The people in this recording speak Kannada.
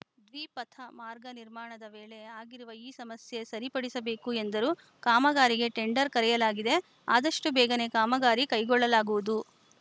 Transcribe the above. ದ್ವಿಪಥ ಮಾರ್ಗ ನಿರ್ಮಾಣದ ವೇಳೆ ಆಗಿರುವ ಈ ಸಮಸ್ಯೆ ಸರಿಪಡಿಸಬೇಕು ಎಂದರು ಕಾಮಗಾರಿಗೆ ಟೆಂಡರ್‌ ಕರೆಯಲಾಗಿದೆ ಆದಷ್ಟುಬೇಗನೆ ಕಾಮಗಾರಿ ಕೈಗೊಳ್ಳಲಾಗುವುದು